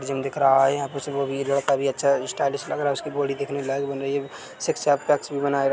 gym दिख रहा है यहाँ पे सभी स्टाइलिश लग रहा है उसकी बॉडी दिखने लायक बन रही है सिक्स एब पैक्स भी बनाए--